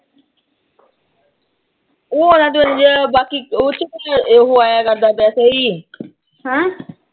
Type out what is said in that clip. ਉਹ ਚ ਬਾਕੀ ਉਹ ਚ ਕੁਸ਼ ਉਹੋ ਆਇਆ ਕਰਦਾ ਕੋਈ।